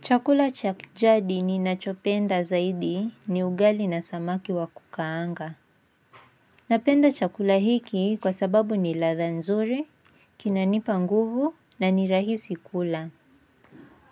Chakula cha kijadi ni nachopenda zaidi ni ugali na samaki wakukaanga. Napenda chakula hiki kwa sababu ni ladha nzuri, kinanipa nguvu na ni rahisi kula.